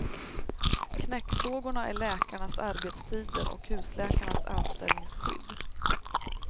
Knäckfrågorna är läkarnas arbetstider och husläkarnas anställningsskydd.